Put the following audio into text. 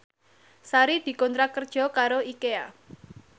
Sari dikontrak kerja karo Ikea